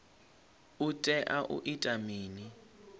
u tea u ita mini